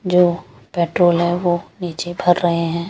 जो पेट्रोल है वो निचे भर रहे है ।